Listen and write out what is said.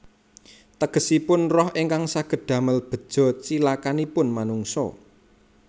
Tegesipun roh ingkang saged damel beja cilakanipun manungsa